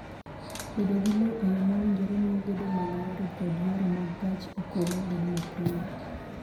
Bedo gi lowo e yo ma owinjore miyo gedo mag yore kod yore mag gach okolo bedo mapiyo.